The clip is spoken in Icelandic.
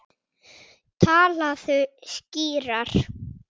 Talaðu skýrar.